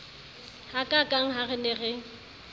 hakaakang ha re ne re